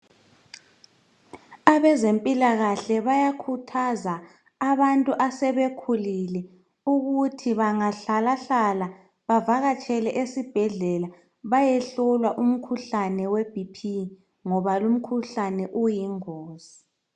Abezempilakahle bayakhuthaza abantu asebekhulile ukuthi bangahlalahlala bavakatshele esibhedlela bayehlolwa umkhuhlane we BP ngoba lumkhuhlane uyingozi.